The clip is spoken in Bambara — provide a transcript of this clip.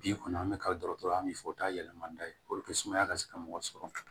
Bi kɔni an bɛ karidɔgɔtɔrɔ an bɛ fɔ o t'a yɛlɛma n'a ye puruke sumaya ka se ka mɔgɔ sɔrɔ